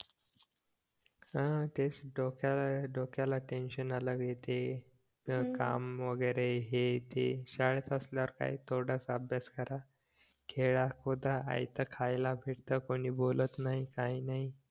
ह तेच डोक्या डोक्याला टेन्शन आलंय ते काम वगैरे हे ते शाळेत असल्यास काय थोडासा अभ्यास करा खेळा खुदा आयत खायला भेटतं कोणी बोलत नाही काय नाही